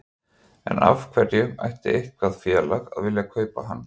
En af hverju ætti eitthvað félag að vilja kaupa hann?